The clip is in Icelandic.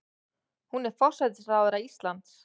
Hún er forsætisráðherra Íslands.